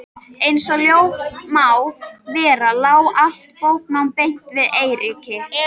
Einsog ljóst má vera lá allt bóknám beint við Eiríki.